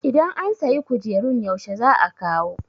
idan an sayi kujerun yaushe za a kawo?